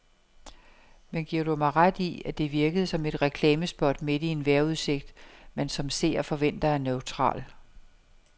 Men giver du mig ret i, at det virkede som et reklamespot midt i en vejrudsigt, man som seer forventer er neutral.